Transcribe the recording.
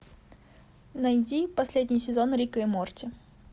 найди последний сезон рика и морти